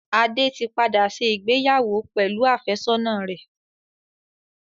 Adé tí padà ṣe ìgbéyàwó pẹ̀lú àfẹ́sọ́nà rẹ̀.